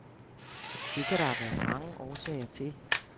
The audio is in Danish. Det kan der være mange årsager til.